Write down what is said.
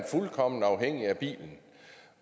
er fuldkommen afhængig af bilen